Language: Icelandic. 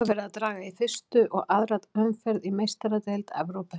Nú er verið að draga í fyrstu og aðra umferð í Meistaradeild Evrópu.